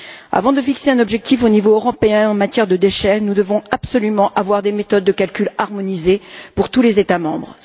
Avant de fixer un objectif au niveau européen en matière de déchets, nous devons absolument avoir des méthodes de calcul harmonisées pour tous les États membres.